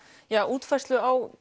útfærslu á